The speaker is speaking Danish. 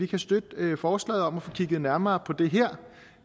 kan støtte forslaget om at få kigget nærmere på det her